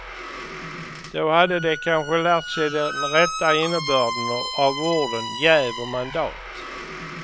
Då hade de kanske lärt sig den rätta innebörden av orden jäv och mandat.